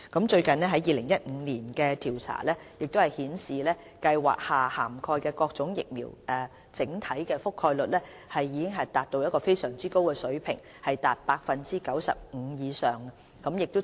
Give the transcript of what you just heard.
最近於2015年進行的調查顯示，計劃下涵蓋的各種疫苗的整體覆蓋率已達非常高水平，達 95% 以上。